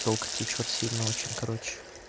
телка течёт сильно очень короче